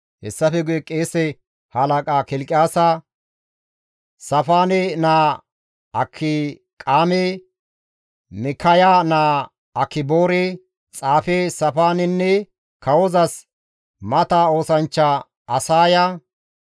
Hessafe guye qeese halaqa Kilqiyaasa, Saafaane naa Akiqaame, Mikkaya naa Akiboore, xaafe Saafaanenne kawozas mata oosanchcha Asaaya,